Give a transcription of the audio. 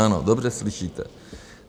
Ano, dobře slyšíte.